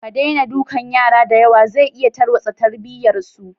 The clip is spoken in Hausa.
Ka daina dukan yara diyawa zai iya tarwatsa tarbiyyar su.